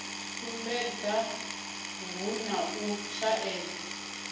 sumbedza hu na u shaedza